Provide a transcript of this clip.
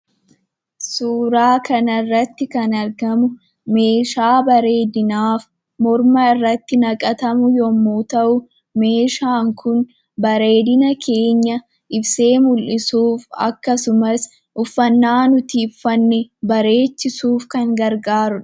Suuraa kana irratti kan argamu meeshaa bareedinaa morma irratti kan naqatamuu dha. Meeshaan kun bareedina keenya ibsee mul'isuuf akkasumas uffanna nuti uffanne bareechisuuf kan gargaarudha.